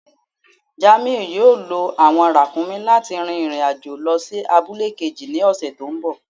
Jàmíù yóò lọ awọn ràkúmí̀ láti rìn irin-ajo lọ sí àbùlẹ̀ kéjì ni ọṣẹ̀ tí nbọ̀.